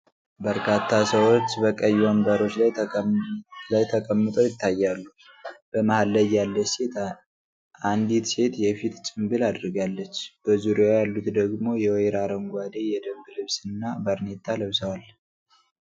በርካታ ሰዎች በቀይ ወንበሮች ላይ ተቀምጠው ይታያሉ። በመሃል ላይ ያለች አንዲት ሴት የፊት ጭምብል አድርጋለች፤ በዙሪያዋ ያሉት ደግሞ የወይራ አረንጓዴ የደንብ ልብስ እና ባርኔጣ ለብሰዋል።